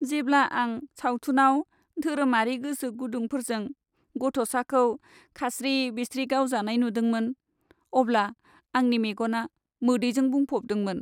जेब्ला आं सावथुनाव धोरोमारि गोसोगुदुंफोरजों गथ'साखौ खास्रि बिस्रि गावजानाय नुदोंमोन अब्ला आंनि मेगना मोदैजों बुंफबदोंमोन।